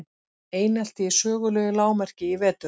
Einelti í sögulegu lágmarki í vetur